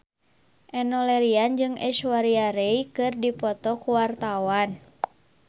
Enno Lerian jeung Aishwarya Rai keur dipoto ku wartawan